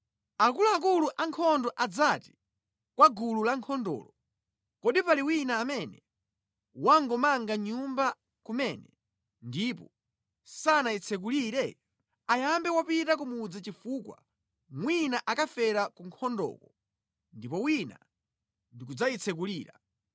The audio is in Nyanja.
Akuluakulu ankhondo adzati kwa gulu la ankhondolo, “Kodi pali wina amene wangomanga nyumba kumene ndipo sanayitsekulire? Ayambe wapita ku mudzi chifukwa mwina akafera ku nkhondoko ndipo wina ndi kudzayitsekulira.